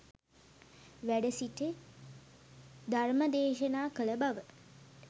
වැඩ සිට ධර්මදේශනා කළ බව